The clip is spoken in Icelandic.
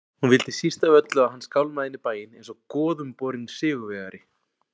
Hún vildi síst af öllu að hann skálmaði inn í bæinn einsog goðumborinn sigurvegari.